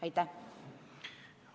Aitäh!